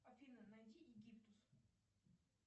афина найди египтус